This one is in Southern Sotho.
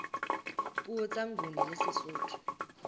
puo tsa nguni le sesotho